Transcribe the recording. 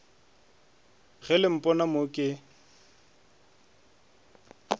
ge le mpona mo ke